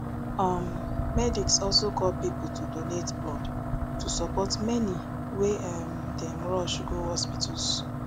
um medics also call pipo to donate blood to support many wey um dem rush go hospitals